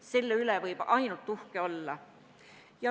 Selle üle võib ainult uhke olla.